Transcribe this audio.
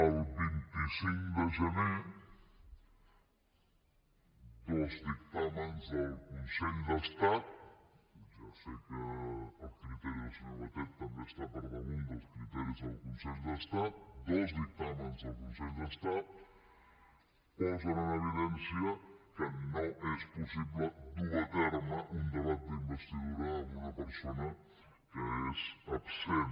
el vint cinc de gener dos dictàmens del consell d’estat ja sé que el criteri del senyor batet també està per damunt dels criteris del consell d’estat posen en evidència que no és possible dur a terme un debat d’investidura amb una persona que és absent